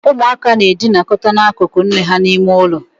Umu aka n edinoka n’akükü nne ha n' ime ulo